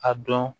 A dɔn